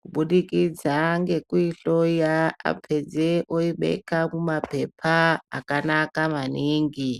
Kubudikidza ngekuihloya apedze oibeka mumapepa akanaka maningi.